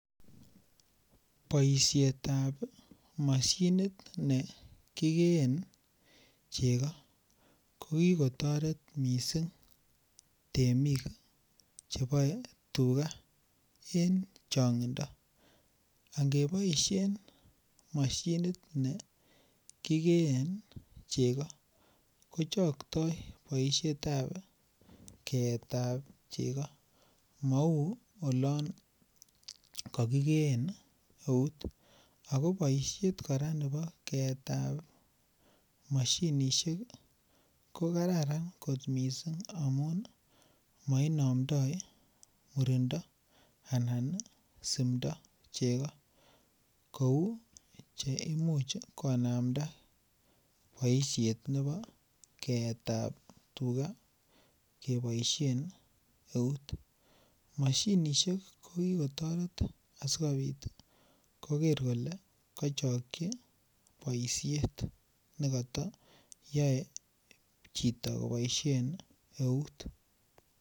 Boisiet ab mashinit ne kigeen chego ko ki kotoret mising temik cheboe tuga en changindo angeboisien mashinit nekigeen chego ko kochaktai boisietab keetab chego mou olon kokigeen eut ako kora boisiet kora nebo keetab mashinisiek ii ko Kararan kot mising mainamdoi murindo anan simdo chego kou Che Imuch konamda boisiet nebo keetab chego keboisien eut mashinisiek ko ki ko toret asikobit koker kole kochokyi boisiet ne koto yoe chito koboisien eut